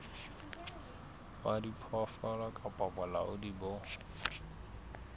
wa diphoofolo kapa bolaodi bo